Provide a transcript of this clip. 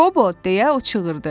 Qobo, deyə o çığırdı.